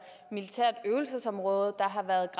militært øvelsesområde der har været